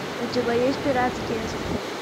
у тебя есть пиратские острова